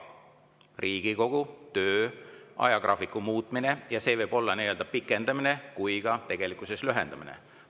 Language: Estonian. Riigikogu töö ajagraafiku muutmine võib tähendada nii pikendamist kui ka lühendamist.